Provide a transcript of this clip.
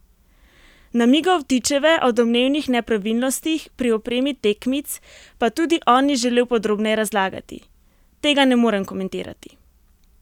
Namigov Vtičeve o domnevnih nepravilnostih pri opremi tekmic pa tudi on ni želel podrobneje razlagati: "Tega ne morem komentirati.